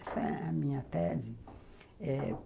Essa é a minha tese, eh